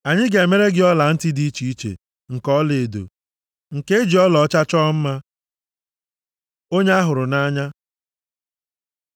Anyị ga-emere gị ọlantị dị iche iche nke ọlaedo, nke e ji ọlaọcha chọọ mma. Onye a hụrụ nʼanya